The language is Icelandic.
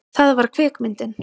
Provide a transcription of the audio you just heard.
Það var kvikmyndin